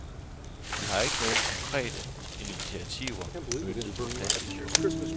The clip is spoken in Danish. Vi har ikke nogen konkrete initiativer møntet på plasticdunkene.